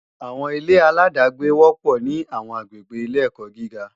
Àwọn ilé-aláàdágbé wọ́pọ̀ ní àwọn àgbègbè ilé-ẹ̀kọ́ gíga